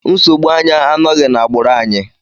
Nsogbu anya anọghị n'agbụrụ anyị.